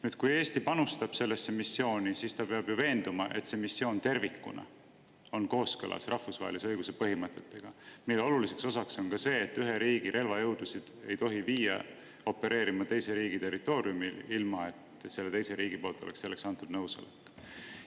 Nüüd, kui Eesti panustab sellesse missiooni, siis ta peab ju olema veendunud, et see missioon tervikuna on kooskõlas rahvusvahelise õiguse põhimõtetega, mille oluliseks osaks on ka see, et ühe riigi relvajõudusid ei tohi viia opereerima teise riigi territooriumile, ilma et see teine riik oleks andnud selleks nõusoleku.